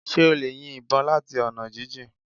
Ṣé o lè yin ìbọn láti ọ̀nà jíjìn